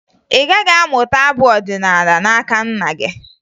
Ị gaghị amụta abụ ọdịnaala n'aka nna gị